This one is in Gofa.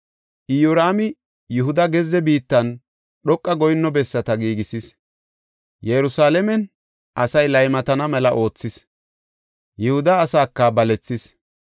Iyoraami Yihuda gezze biittan dhoqa goyinno bessata giigisis; Yerusalaamen asaa laymatana mela oothis; Yihuda asaaka balethis.